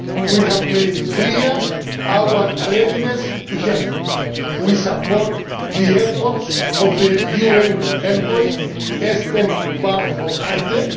We have made clear our readiness to help. We support the efforts of the UN envoy Espen Barth